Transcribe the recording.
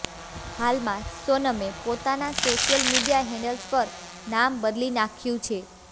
હાલમાં સોનમે પોતાના સોશિયલ મીડિયા હેન્ડલ્સ પર નામ બદલી નાખ્યું છે